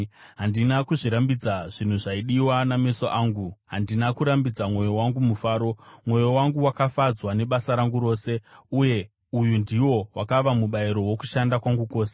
Handina kuzvirambidza zvinhu zvaidiwa nameso angu, handina kurambidza mwoyo wangu mufaro. Mwoyo wangu wakafadzwa nebasa rangu rose, uye uyu ndiwo wakava mubayiro wokushanda kwangu kwose.